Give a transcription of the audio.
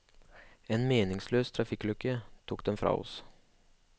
En meningsløs trafikkulykke tok dem fra oss.